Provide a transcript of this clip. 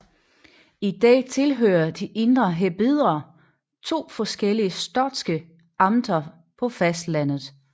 I dag tilhører de Indre Hebrider to forskellige skotske amter på fastlandet